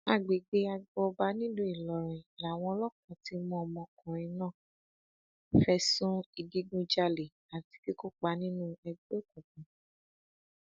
agbègbè agbo ọba nílùú ìlọrin làwọn ọlọpàá ti mú ọmọkùnrin náà fẹsùn ìdígunjalè àti kí kópa nínú ẹgbẹ òkùnkùn